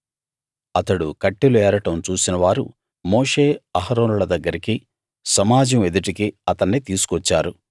అతడు కట్టెలు ఏరడం చూసిన వారు మోషే అహారోనుల దగ్గరికి సమాజం ఎదుటికి అతన్ని తీసుకొచ్చారు